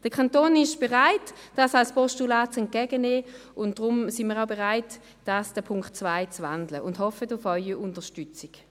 Der Kanton ist bereit, dies als Postulat entgegenzunehmen, und deshalb sind wir auch bereit, den Punkt 2 zu wandeln und hoffen auf Ihre Unterstützung.